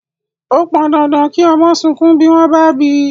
Ó pọn dandan kí ọmọ sunkún bí wón bá bíi